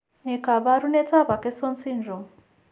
Ne kaabarunetap Akesson syndrome?